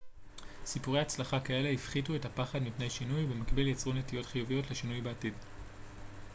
סיפורי הצלחה כאלה הפחיתו את הפחד מפני שינוי ובמקביל יצרו נטיות חיוביות לשינוי בעתיד